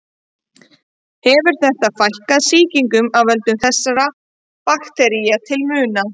Hefur þetta fækkað sýkingum af völdum þessara baktería til muna.